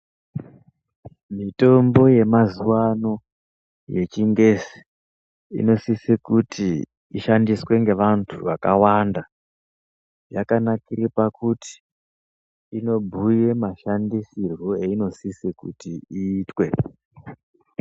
Mitombo yemazuwa ano yechingezi inosisa kuti ishandiswe ngevantu vakawanda yakanakire pakuti inobhuya mashandisirwo ainosise kuti iitwe.